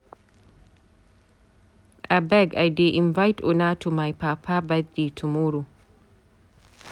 Abeg I dey invite una to my papa birthday tomorrow.